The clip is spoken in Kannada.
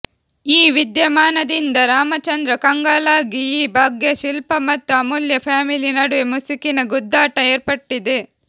ಈ ವಿದ್ಯಮಾನದಿಂದ ರಾಮಚಂದ್ರ ಕಂಗಾಲಾಗಿ ಈ ಬಗ್ಗೆ ಶಿಲ್ಪಾ ಮತ್ತು ಅಮೂಲ್ಯಾ ಫ್ಯಾಮಿಲಿ ನಡುವೆ ಮುಸುಕಿನ ಗುದ್ದಾಟ ಏರ್ಪಟ್ಟಿದೆ